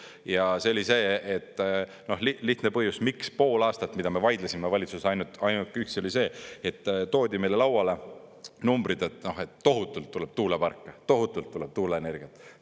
Ja see oli see, lihtne põhjus, miks pool aastat, mida me vaidlesime valitsuses, ainult üks oli see, et toodi meile lauale numbrid, et tohutult tuleb tuuleparke, tohutult tuleb tuuleenergiat.